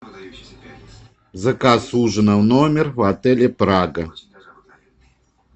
заказ ужина в номер в отеле прага